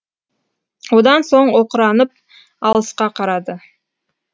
одан соң оқыранып алысқа қарады